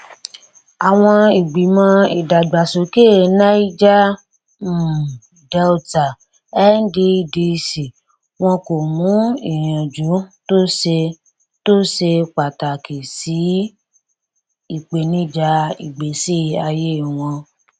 àwọn ìgbìmọ ìdàgbàsókè niger um delta nddc wọn kò mú ìyànjú tó ṣe tó ṣe pàtàkì sí ìpènijà ìgbésí ayé wọn